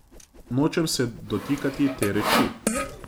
Nočem se dotikati te reči.